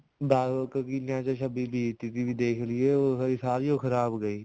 ਬਾਰਾਂ ਕੁ ਕਿੱਲਿਆਂ ਚ ਛੱਬੀ ਬੀਜਤੀ ਸੀਗੀ ਸਾਰੀ ਓ ਖਰਾਬ ਗਈ